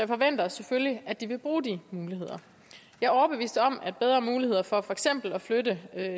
forventer selvfølgelig at de vil bruge de muligheder jeg er overbevist om at bedre muligheder for for eksempel at flytte